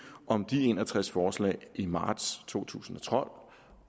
om de en og tres forslag i marts to tusind